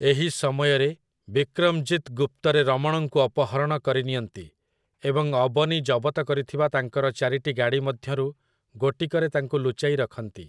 ଏହି ସମୟରେ, ବିକ୍ରମଜିତ୍ ଗୁପ୍ତରେ ରମଣଙ୍କୁ ଅପହରଣ କରିନିଅନ୍ତି, ଏବଂ ଅବନୀ ଜବତ କରିଥିବା ତାଙ୍କର ଚାରିଟି ଗାଡ଼ି ମଧ୍ୟରୁ ଗୋଟିକରେ ତାଙ୍କୁ ଲୁଚାଇ ରଖନ୍ତି ।